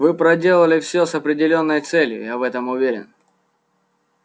вы проделали всё с определённой целью я в этом уверен